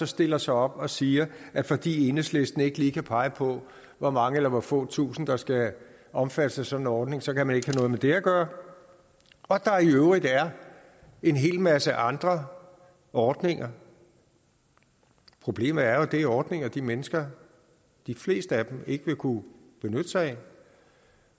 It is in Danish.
stiller sig op og siger at fordi enhedslisten ikke lige kan pege på hvor mange eller hvor få tusind der skal omfattes af sådan en ordning så kan man ikke have noget med det at gøre og at der i øvrigt er en hel masse andre ordninger problemet er jo at det er ordninger som de mennesker de fleste af dem ikke vil kunne benytte sig af